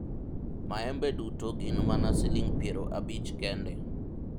maembe duto gin mana siling' piero abich kende